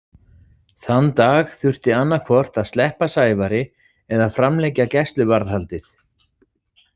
Þann dag þurfti annað hvort að sleppa Sævari eða framlengja gæsluvarðhaldið.